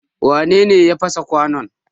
Wane ne ya fasa kwanon?